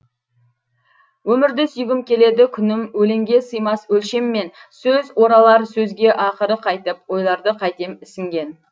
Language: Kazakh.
өмірді сүйгім келеді күнім өлеңге сыймас өлшеммен сөз оралар сөзге ақыры қайтіп ойларды қайтем ісінген